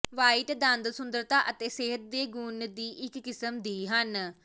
white ਦੰਦ ਸੁੰਦਰਤਾ ਅਤੇ ਸਿਹਤ ਦੇ ਗੁਣ ਦੀ ਇੱਕ ਕਿਸਮ ਦੀ ਹਨ